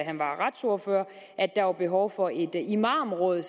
han var retsordfører at der var behov for et imamråd